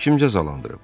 Onu kim cəzalandırıb?